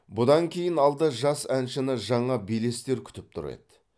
бұдан кейін алда жас әншіні жаңа белестер күтіп тұр еді